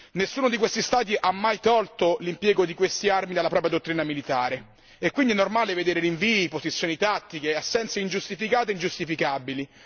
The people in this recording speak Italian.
Nessuno di questi Stati ha mai tolto l'impiego di queste armi dalla propria dottrina militare e quindi è normale vedere rinvii, posizioni tattiche, assenze ingiustificate e ingiustificabili.